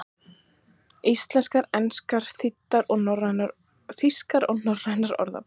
Íslenskar, enskar, þýskar og norrænar orðabækur.